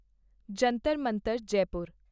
Jantar Mantar Jaipur